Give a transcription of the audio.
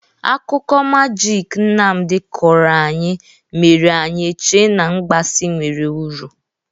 Akụkọ magiki Nnamdị kọrọ anyị mere anyị eche n'mgbasị nwere uru.